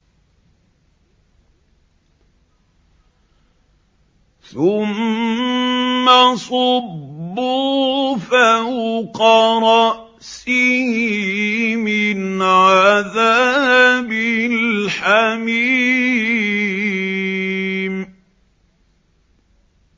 ثُمَّ صُبُّوا فَوْقَ رَأْسِهِ مِنْ عَذَابِ الْحَمِيمِ